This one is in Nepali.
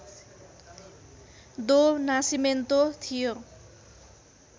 दो नासिमेन्तो थियो